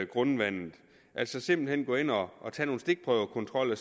grundvandet altså simpelt hen gå ind og og tage nogle stikprøvekontroller